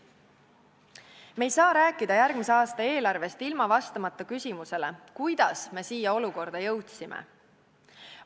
Me ei saa rääkida järgmise aasta eelarvest, vastamata küsimusele, kuidas me siia olukorda jõudsime.